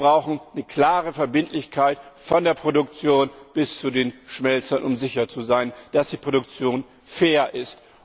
Wir brauchen eine klare Verbindlichkeit von der Produktion bis zu den Schmelzen, um sicher zu sein, dass die Produktion fair ist.